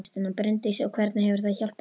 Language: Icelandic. Bryndís: Og hvernig hefur það hjálpað þér?